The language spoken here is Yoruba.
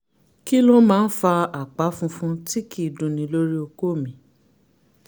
kí ló máa ń fa àpá funfun tí kì í dunni lórí okó mi?